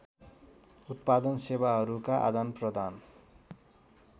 उत्पादन सेवाहरूका आदानप्रदान